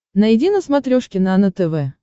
найди на смотрешке нано тв